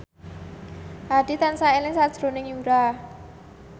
Hadi tansah eling sakjroning Yura